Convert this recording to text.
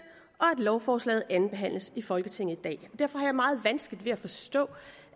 lovforslaget andenbehandles i folketinget i dag derfor har jeg meget vanskeligt ved at forstå